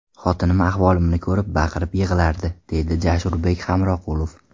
Xotinim ahvolimni ko‘rib, baqirib yig‘lardi, deydi Jasurbek Hamroqulov.